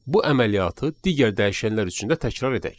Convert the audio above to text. Bu əməliyyatı digər dəyişənlər üçün də təkrar edək.